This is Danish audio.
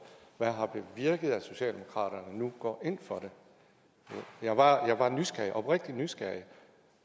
hvad har bevirket at socialdemokraterne nu går ind for det jeg er bare oprigtigt nysgerrig